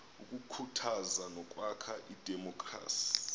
ukukhuthaza nokwakha idemokhrasi